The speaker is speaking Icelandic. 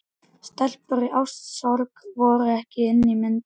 Stelpur í ástarsorg voru ekki inni í myndinni.